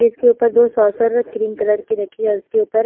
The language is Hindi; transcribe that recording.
इसके ऊपर दो क्रीम कलर की रखी और उसके ऊपर--